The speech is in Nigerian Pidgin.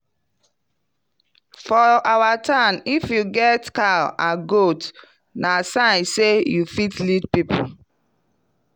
for our town if you get cow and goat na sign say you fit lead people.